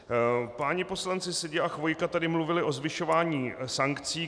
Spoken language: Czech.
Páni poslanci Seďa a Chvojka tady mluvili o zvyšování sankcí.